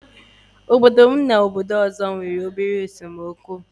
Obodo m na ógbè ọzọ nwere obere esemokwu nwere obere